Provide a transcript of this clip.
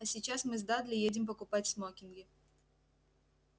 а сейчас мы с дадли едем покупать смокинги